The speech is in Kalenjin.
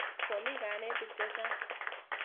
Komi kanetik che chang'.